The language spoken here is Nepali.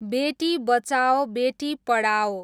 बेटी बचाओ बेटी पढाओ